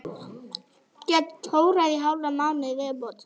Get tórað í hálfan mánuð í viðbót.